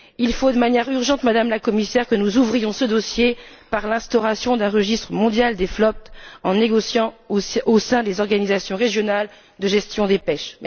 Il faut de manière urgente, Madame la Commissaire, que nous ouvrions ce dossier par l'instauration d'un registre mondial des flottes en négociant au sein des organisations régionales de gestion des pêches.